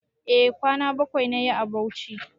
E kwana bakwai nayi a Bauchi